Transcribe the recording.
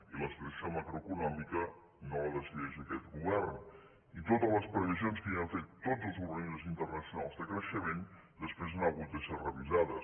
i la situació macroeconòmica no la decideix aquest govern i totes les previsions que havien fet tots els organismes internacionals de creixement després han hagut de ser revisades